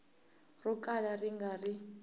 ro kala ri nga ri